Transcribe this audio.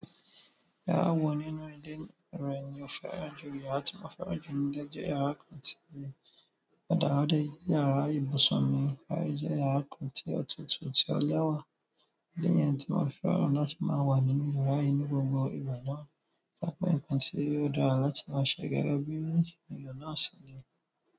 Yàrá wọ nínú ìdí rẹ̀ ni ó fẹ́ràn jù yàrá tí mo fẹ́ràn jù nígbà tí ó jẹ́ yàrá kan ti òdàràdà, yàrá ibùsùn mi, yàrá tí ó tutù tí ó lẹ́wà. Idi niyen ti mo se fẹ́ràn kari náà waa nini iyara náà.